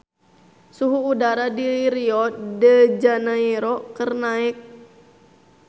Suhu udara di Rio de Janairo keur naek